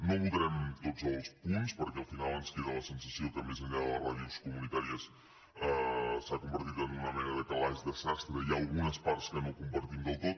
no votarem tots els punts perquè al final ens queda la sensació que més enllà de les ràdios comunitàries s’ha convertit en una mena de calaix de sastre i hi ha algunes parts que no compartim del tot